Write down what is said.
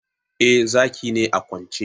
Eh, Zaki ne a kwance